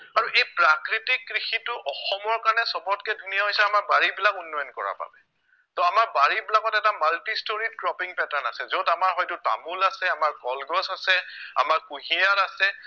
আৰু এই প্ৰাকৃতিক কৃষিটো অসমৰ কাৰণে সৱতকে ধুনীয়া হৈছে আমাৰ বাৰীবিলাক উন্নয়ন কৰাৰ কাৰণে তহ আমাৰ বাৰীবিলাকত এটা multistoried cropping pattern আছে য'ত আমাৰ হয়তো তামুল আছে আমাৰ কলগছ আছে, আমাৰ কুঁহিয়াৰ আছে